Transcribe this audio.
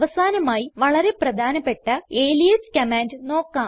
അവസാനമായി വളരെ പ്രധാനപ്പെട്ട അലിയാസ് കമാൻഡ് നോക്കാം